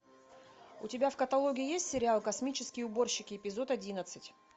у тебя в каталоге есть сериал космические уборщики эпизод одиннадцать